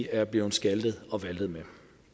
er blevet skaltet og valtet med